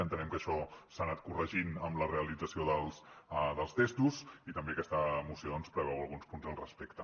entenem que això s’ha anat corregint amb la realització dels testos i també aquesta moció doncs preveu alguns punts al respecte